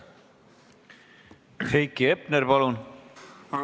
Heiki Hepner, palun!